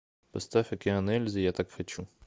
поставь океан ельзи я так хочу